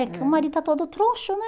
É. Porque o marido está todo troncho, né?